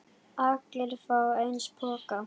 Allir fá eins poka.